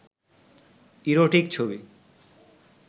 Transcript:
erotic ছবি